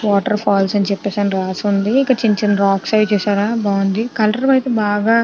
Water falls అని చెప్పేసి అని రాసి ఉంది. ఇక్కడ చిన్న చిన్న రాక్స్ అయ్యి చూసారా బాగుంది కలర్ ఐతే బాగా --